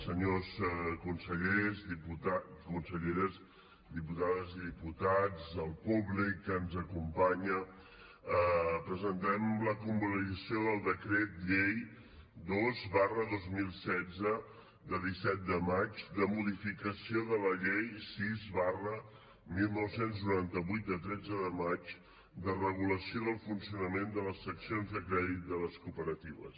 senyors consellers i conselleres diputades i diputats el públic que ens acompanya presentem la convalidació del decret llei dos dos mil setze de disset de març de modificació de la llei sis dinou noranta vuit de tretze de maig de regulació del funcionament de les seccions de crèdit de les cooperatives